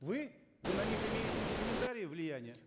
вы вы на них имеете инструментарий влияния